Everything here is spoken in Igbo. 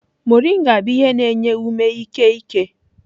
Moringa bụ ihe na-enye ume ike eke.